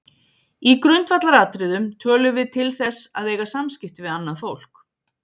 Í grundvallaratriðum tölum við til þess að eiga samskipti við annað fólk.